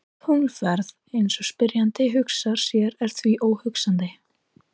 Tunglferð eins og spyrjandi hugsar sér er því óhugsandi.